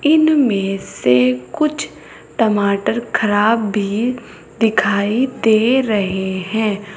इनमें से कुछ टमाटर खराब भी दिखाई दे रहे हैं।